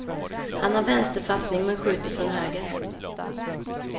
Han har vänsterfattning men skjuter från höger.